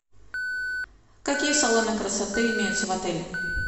какие салоны красоты имеются в отеле